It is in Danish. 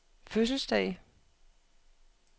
fødselsdag